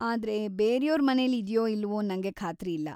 ಆದ್ರೆ, ಬೇರ್ಯೋರ್ ಮನೆಲಿ ಇದ್ಯೋ ಇಲ್ವೋ ನಂಗೆ ಖಾತ್ರಿ ಇಲ್ಲ.